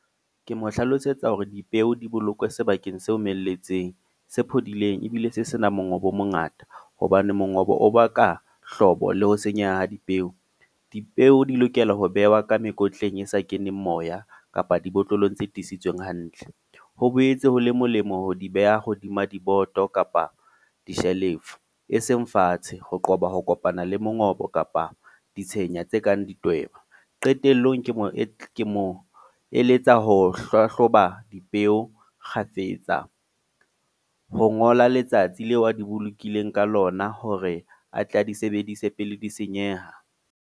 Ke mo hlalosetsa hore dipeo di bolokwe sebakeng se omelletseng. Se phodileng, ebile se senang mongobo o mongata. Hobane mongobo o baka hlobo le ho senyeha ha dipeo. Dipeo di lokela ho behwa ka mekotleng e sa keneng moya, kapa ng dibotlolong tse tiiseditsweng hantle. Ho boetse ho le molemo ho di beha hodima diboto kapa di-shelf-o, e seng fatshe ho qoba ho kopana le mongobo kapa di tshenya tse kang di tweba. Qetellong ke mo ke mo eletsa ho hlahloba dipeo kgafetsa, ho ngola letsatsi leo a di bolokileng ka lona. Hore a tle a di sebedise pele di senyeha.